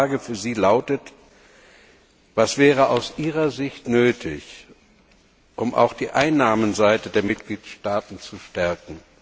Meine Frage an Sie lautet Was wäre aus Ihrer Sicht nötig, um auch die Einnahmenseite der Mitgliedstaaten zu stärken?